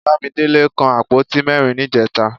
Bámidélé kan àpótí mẹ́rin níjẹta